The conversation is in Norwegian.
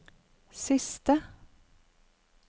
siste